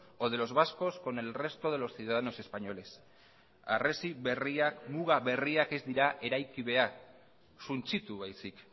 o de los vascos con el resto de los ciudadanos españoles harresi berriak muga berriak ez dira eraiki behar suntsitu baizik